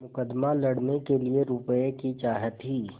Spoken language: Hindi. मुकदमा लड़ने के लिए रुपये की चाह थी